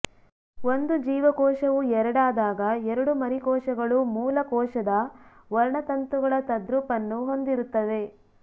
ಒಂದು ಜೀವಕೋಶವು ಎರಡಾದಾಗ ಎರಡೂ ಮರಿಕೋಶಗಳು ಮೂಲ ಕೋಶದ ವರ್ಣತಂತುಗಳ ತದ್ರೂಪನ್ನು ಹೊಂದಿರುತ್ತವೆ